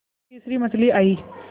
फिर तीसरी मछली आई